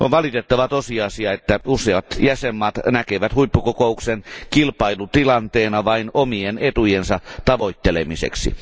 On valitettava tosiasia, että useat jäsenvaltiot näkevät huippukokouksen kilpailutilanteena vain omien etujensa tavoittelemiseksi.